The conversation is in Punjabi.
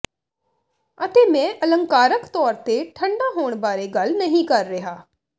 ਅਤੇ ਮੈਂ ਅਲੰਕਾਰਕ ਤੌਰ ਤੇ ਠੰਢਾ ਹੋਣ ਬਾਰੇ ਗੱਲ ਨਹੀਂ ਕਰ ਰਿਹਾ